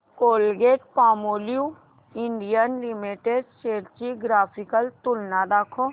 Colgate Palmolive India Limited shares ची graphical तुलना दाखव